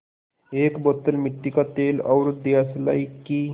एक बोतल मिट्टी का तेल और दियासलाई की